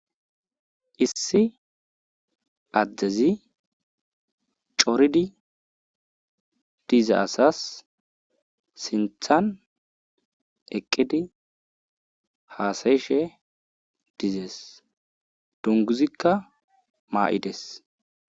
Issi addezi coridi dize asas sinthan eqqidi haasayishe dizees dunguzikka maa7ides.